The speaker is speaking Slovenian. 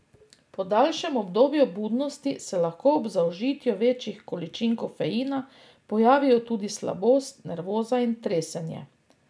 Po daljšem obdobju budnosti se lahko ob zaužitju večjih količin kofeina pojavijo tudi slabost, nervoza in tresenje.